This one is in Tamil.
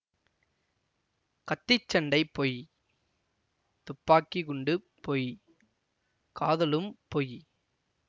கத்திச் சண்டை பொய் துப்பாக்கி குண்டு பொய் காதலும் பொய்